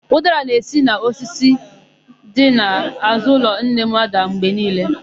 Ụdara na-esi n'osisi ya dị n'àzụ́ ụlọ nne m ádà mgbe niile.